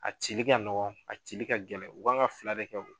A cili ka nɔgɔ a cili ka gɛlɛn u kan ka fila de kɛ o